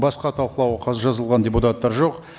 басқа талқылауға жазылған депутаттар жоқ